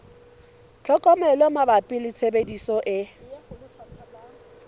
tlhokomelo mabapi le tshebediso e